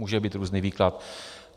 Může být různý výklad.